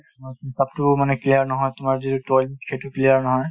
তোমাৰ পেটতোও মানে clear নহয় তোমাৰ যিটো toilet সেইটো clear নহয়